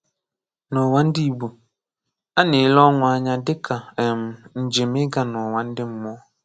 N’ụwa ndị Igbo, a na-ele ọnwụ anya dị ka um njem iga n'ụwa ndị mmụọ.